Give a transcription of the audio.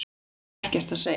Hef ekkert að segja